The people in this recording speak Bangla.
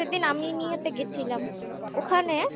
সেদিন আমি নিয়ে আমিনিয়া তে গেছিলাম ওখানে